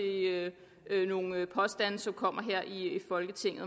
nogle påstande som kommer her i folketinget